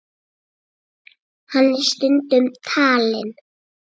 Hann er stundum talinn